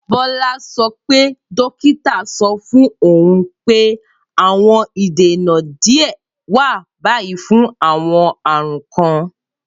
Bola sọ pe dokita sọ fun oun pe awọn idena diẹ wa bayi fun awọn arun kan.